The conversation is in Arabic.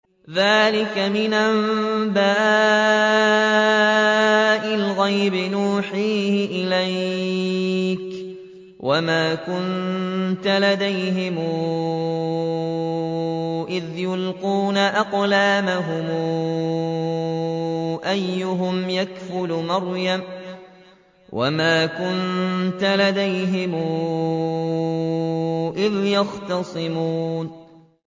ذَٰلِكَ مِنْ أَنبَاءِ الْغَيْبِ نُوحِيهِ إِلَيْكَ ۚ وَمَا كُنتَ لَدَيْهِمْ إِذْ يُلْقُونَ أَقْلَامَهُمْ أَيُّهُمْ يَكْفُلُ مَرْيَمَ وَمَا كُنتَ لَدَيْهِمْ إِذْ يَخْتَصِمُونَ